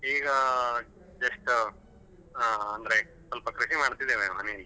ಈಗ just ಹಾ ಅಂದ್ರೆ ಸ್ವಲ್ಪ ಕೃಷಿ ಮಾಡ್ತಾ ಇದ್ದೇನೆ ಮನೇಲಿ.